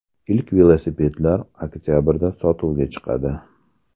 Ilk velosipedlar oktabrda sotuvga chiqadi.